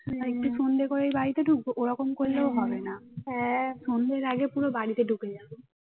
সন্ধ্যে করেই বাড়িতে ঢুকবো ওরম করলেও হবে না সন্ধ্যের আগে পুরো বাড়িতে ঢুকে যাবো